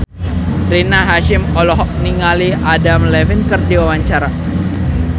Rina Hasyim olohok ningali Adam Levine keur diwawancara